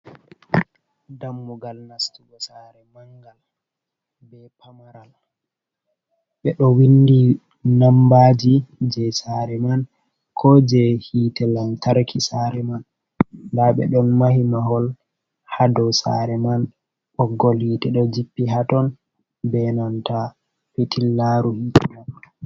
Dammugal nastugo sare mangal, be pamaral, ɓe ɗo windi nambaji je sare man, ko je hite lantarki sare man, nda ɓe ɗon mahi mahol ha dou sare man, ɓoggol hitte ɗo jippi ha ton, benanta fitillaru hitte man.